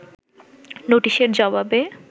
নোটিশের জবাবে